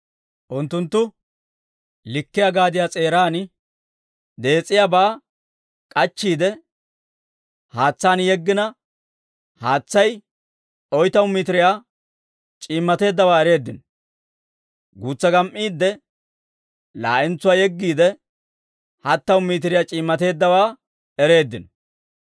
Unttunttu likkiyaa gaadiyaa s'eeraan dees's'iyaabaa k'achchiide, haatsaan yeggina, haatsay oytamu mitiriyaa c'iimmateeddawaa ereeddino. Guutsaa gam"iidde, laa'entsuwaa yeggiide, hattamu mitiriyaa c'iimmateeddawaa ereeddino.